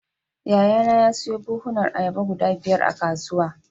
Yayana ya siyo buhunan ayaba guda biyar a kasuwa.